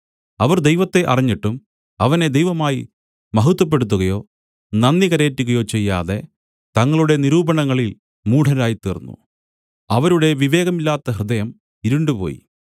അവർ ദൈവത്തെ അറിഞ്ഞിട്ടും അവനെ ദൈവമായി മഹത്വപ്പെടുത്തുകയോ നന്ദി കരേറ്റുകയോ ചെയ്യാതെ തങ്ങളുടെ നിരൂപണങ്ങളിൽ മൂഢരായിത്തീർന്നു അവരുടെ വിവേകമില്ലാത്ത ഹൃദയം ഇരുണ്ടുപോയി